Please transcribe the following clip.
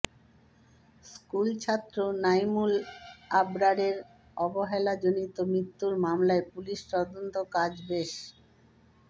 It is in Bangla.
স্কুলছাত্র নাইমুল আবরারের অবহেলাজনিত মৃত্যুর মামলায় পুলিশি তদন্তকাজ বেশ